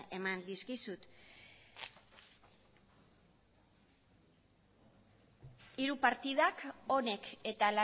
eman dizkizut hiru partidak honek eta